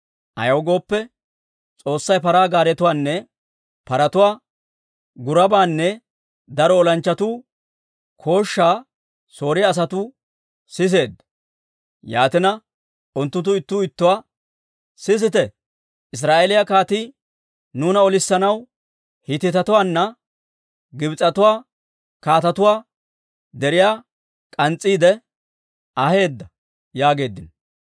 Ayaw gooppe, S'oossay paraa gaaretuwaanne paratuwaa gurabaanne daro olanchchatuu kooshshaa Sooriyaa asatuu sisseedda. Yaatina unttunttu ittuu ittuwaa, «Sisite, Israa'eeliyaa kaatii nuuna olissanaw, Hiitetuwaanne Gibs'etuwaa kaatetuwaa deriyaa k'ans's'iidde aheedda» yaageeddino.